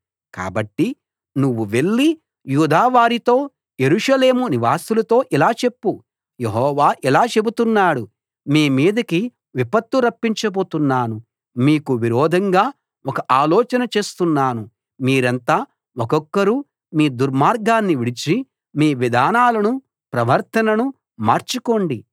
కాబట్టి నువ్వు వెళ్లి యూదావారితో యెరూషలేము నివాసులతో ఇలా చెప్పు యెహోవా ఇలా చెబుతున్నాడు మీ మీదికి విపత్తు రప్పించబోతున్నాను మీకు విరోధంగా ఒక ఆలోచన చేస్తున్నాను మీరంతా ఒక్కొక్కరు మీ దుర్మార్గాన్ని విడిచి మీ విధానాలనూ ప్రవర్తననూ మార్చుకోండి